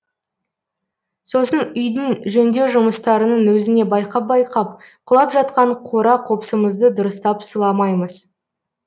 сосын үйдің жөндеу жұмыстарының өзіне байқап байқап құлап жатқан қора қопсымызды дұрыстап сыламаймыз